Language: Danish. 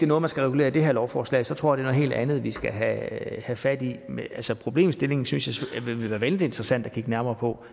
noget man skal regulere i det her lovforslag så tror jeg helt andet vi skal have fat i altså problemstillingen synes vil være vældig interessant at kigge nærmere på